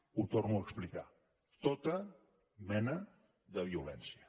ho torno a explicar tota mena de violència